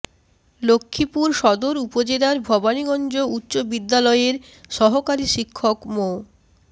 লক্ষ্মীপুর সদর উপজেলার ভবানীগঞ্জ উচ্চ বিদ্যালয়ের সহকারী শিক্ষক মো